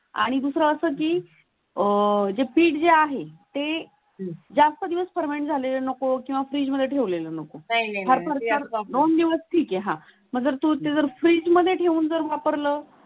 आणि दुसरं असं की अह जे पीट जे आहे ते जास्त दिवस फर्मंट झाले नको किंवा फ्रीज मध्ये ठेवलेलं नको. दोन दिवस ठीक आहे आह जर तुम्ही जर फ्रीज मध्ये ठेवून जर वापरल.